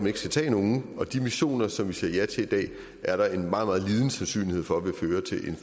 ikke skal tage nogen og de missioner som vi siger ja til i dag er der en meget meget lille sandsynlighed for vil føre til en